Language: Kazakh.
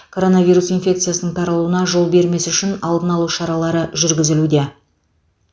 коронавирус инфекциясының таралуына жол бермес үшін алдын алу шаралары жүргізілуде